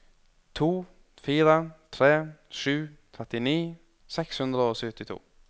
to fire tre sju trettini seks hundre og syttito